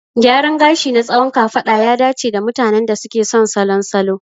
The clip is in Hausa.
Gyaran gashi na tsawon kafada ya dace da mutanen da suke son salon salo.